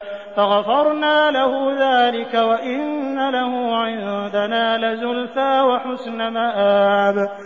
فَغَفَرْنَا لَهُ ذَٰلِكَ ۖ وَإِنَّ لَهُ عِندَنَا لَزُلْفَىٰ وَحُسْنَ مَآبٍ